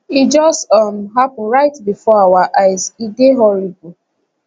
e just um happun right bifor our eyes e dey horrible